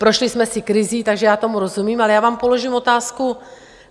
Prošli jsme si krizí, takže já tomu rozumím, ale já vám položím otázku.